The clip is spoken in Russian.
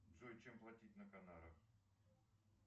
джой чем платить на канарах